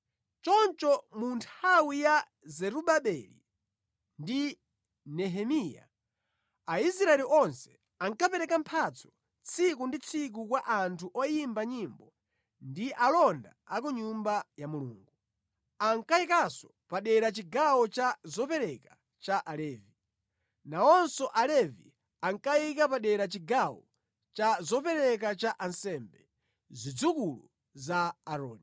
Choncho mu nthawi ya Zerubabeli ndi Nehemiya, Aisraeli onse anakapereka mphatso tsiku ndi tsiku kwa anthu oyimba nyimbo ndi alonda a ku Nyumba ya Mulungu. Ankayikanso padera chigawo cha zopereka cha Alevi. Nawonso Alevi ankayika padera chigawo cha zopereka cha ansembe, zidzukulu za Aaroni.